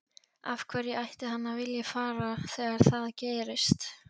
Af hverju ætti hann að vilja fara þegar það gerist?